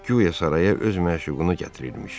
Guya saraya öz məşuqunu gətirirmiş.